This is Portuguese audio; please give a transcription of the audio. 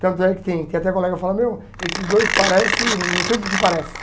Tanto é que tem tem até colega que fala, meu, esses dois parecem, não sei o que que parecem.